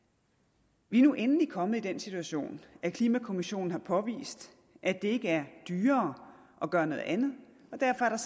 vi er nu endelig kommet i den situation at klimakommissionen har påvist at det ikke er dyrere at gøre noget andet og derfor er der